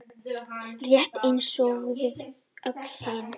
Rétt eins og við öll hin.